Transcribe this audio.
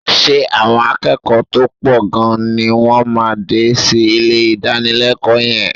Ṣé àwọn akẹ́kọ̀ọ́ tó pọ̀ gan-an ni wọ́n máa dé sí ilé ìdánilẹ́kọ̀ọ́ yẹn?